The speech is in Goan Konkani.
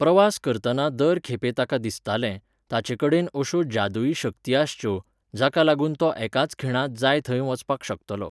प्रवास करतना दर खेपे ताका दिसतालें, ताचे कडेन अश्यो जादुई शक्ती आसच्यो, जाका लागून तो एकाच खिणांत जाय थंय वचपाक शकतलो.